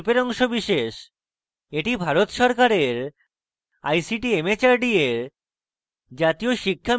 এটি ভারত সরকারের ict mhrd এর জাতীয় শিক্ষা mission দ্বারা সমর্থিত